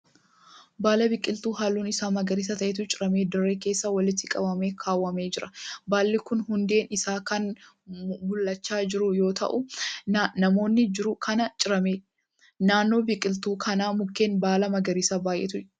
Baala biqiltuu halluun isaa magariisa ta'etu ciramee dirree keessa walitti qabamee kaawwamee jira. Baalli kun hundeen isaa kan mul'achaa jiru yoo ta'u naannooma jiru kanaa cirame. Naannoo biqiloota kanaa mukeen baala magariisaa baay'eetu jira.